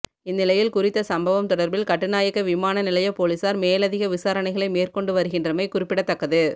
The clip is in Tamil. இந்நிலையில் குறித்த சம்பவம் தொடர்பில் கட்டுநாயக்க விமானநிலைய பொலிஸார் மேலதிக விசாரணைகளை மேற்கொண்டு வருகின்றமை குநிப்பிடத்தக்கது